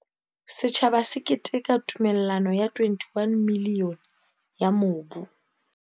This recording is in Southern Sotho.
Setjhaba se keteka tumella no ya R21 milione ya mobu